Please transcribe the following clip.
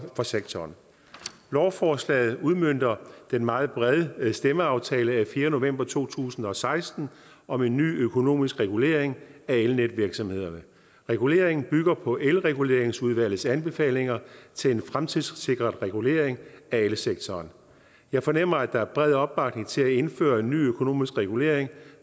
sektoren lovforslaget udmønter den meget brede stemmeaftale af fjerde november to tusind og seksten om en ny økonomisk regulering af elnetvirksomhederne reguleringen bygger på elreguleringsudvalgets anbefalinger til en fremtidssikret regulering af elsektoren jeg fornemmer at der er bred opbakning til at indføre en ny økonomisk regulering